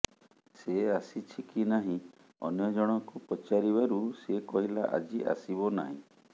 ସେ ଆସିଛି କି ନାହିଁ ଅନ୍ୟଜଣକୁ ପଚାରିବାରୁ ସେ କହିଲା ଆଜି ଆସିବ ନାହିଁ